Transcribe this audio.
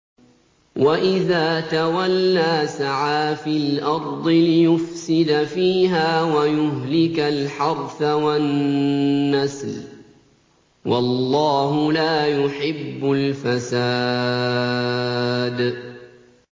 وَإِذَا تَوَلَّىٰ سَعَىٰ فِي الْأَرْضِ لِيُفْسِدَ فِيهَا وَيُهْلِكَ الْحَرْثَ وَالنَّسْلَ ۗ وَاللَّهُ لَا يُحِبُّ الْفَسَادَ